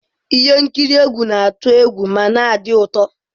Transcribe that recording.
Ihe nkiri egwu na-atụ egwu ma na-adị ụtọ.